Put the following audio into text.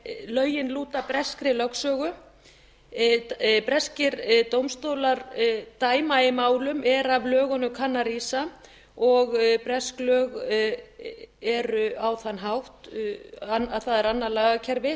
en lögin lúta breskri lögsögu breskir dómstólar dæma í málum er af lögunum kunna að rísa og bresk lög eru á þann hátt að það er annað lagakerfi